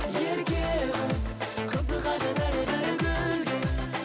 ерке қыз қызығады бәрі бәрі гүлге